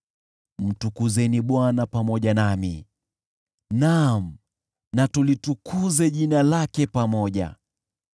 Mtukuzeni Bwana pamoja nami, naam, na tulitukuze jina lake pamoja.